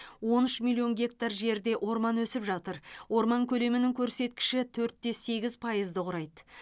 он үш миллион гектар жерде орман өсіп жатыр орман көлемінің көрсеткіші төрт те сегіз пайызды құрайды